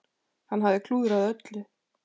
Hann hafði klúðrað öllu.